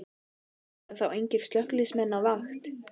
Verða þá engir slökkviliðsmenn á vakt?